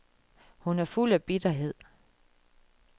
Hun er fuld af bitterhed.